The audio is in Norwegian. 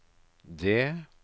det